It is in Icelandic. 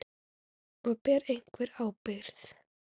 Og: Ber einhver ábyrgð?